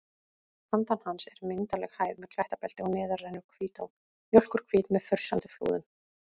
Handan hans er myndarleg hæð með klettabelti og neðar rennur Hvítá, mjólkurhvít með frussandi flúðum.